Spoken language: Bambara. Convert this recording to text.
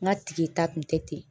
N ka ta kun tɛ ten